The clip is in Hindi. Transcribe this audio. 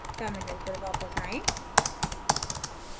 terminal पर वापस आएं